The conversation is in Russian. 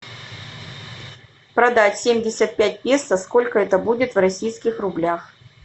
продать семьдесят пять песо сколько это будет в российских рублях